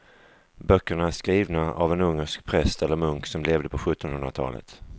Böckerna är skrivna av en ungersk präst eller munk som levde på sjuttonhundratalet.